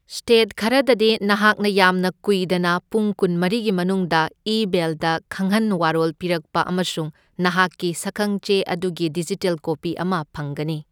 State ꯈꯔꯗꯗꯤ ꯅꯍꯥꯛꯅ ꯌꯥꯝꯅ ꯀꯨꯏꯗꯅ ꯄꯨꯡ ꯀꯨꯟꯃꯔꯤꯒꯤ ꯃꯅꯨꯡꯗ ꯏꯃꯦꯏꯜꯗ ꯈꯪꯍꯟ ꯋꯥꯔꯣꯜ ꯄꯤꯔꯛꯄ ꯑꯃꯁꯨꯡ ꯅꯍꯥꯛꯀꯤ ꯁꯛꯈꯪꯆꯦ ꯑꯗꯨꯒꯤ ꯗꯤꯖꯤꯇꯦꯜ ꯀꯣꯄꯤ ꯑꯃ ꯐꯪꯒꯅꯤ꯫